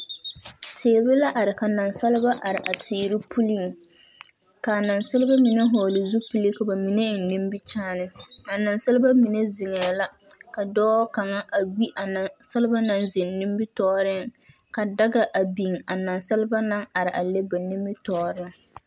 Tiire la are ka naasalba a are a tiire puleŋ ka naasalba mine hule zupile ka ba mine eng nimikyaane. A naasalba mine ziŋēê la ka dɔɔ kang gbi a naasalba nimitooreŋ ka daŋa a biŋ a naasalba naŋ are a lɛ ba nimitɔɔreŋ